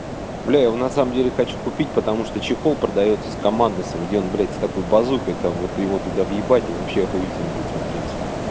блядь его на самом деле хочу купить потому что чехол продаётся с командосом где он блядь с такой базукой там вот его туда въебать и вообще ахуительный будет смотреться